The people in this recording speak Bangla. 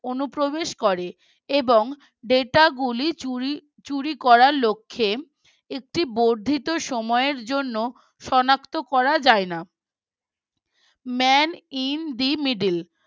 অনুপ্রবেশ করে এবং Data গুলি চুরি চুরি করার লক্ষ্যে একটি বর্ধিত সময়ের জন্য সনাক্ত করা যায় না Man in the Middle